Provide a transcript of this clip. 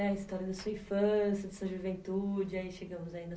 a história da sua infância, da sua juventude, aí chegamos aí na